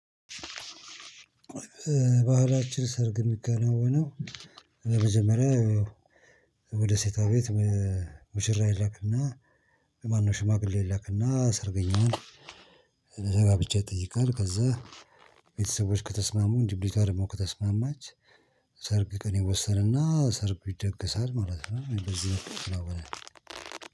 ባህላችን ሰርግ የሚከናወነው። በመጀመሪያ ወደ ሴቷ ቤት። ሙሽራ ይላክና ማነው ሽማግሌ ይላክና ሰርገኛው። ጋብቻ ይጠይቃል ከዛ ቤተሰቦች ከተስማሙ ልጅቷ ደሞ ከተስማማች። ሰርግ ቀን ይወሰንና ሰርጉ ይደገሳል ማለት ነው እንደዚህ ነው። የምለው